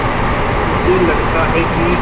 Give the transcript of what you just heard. मुझे लगता है कि